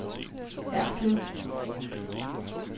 Erslev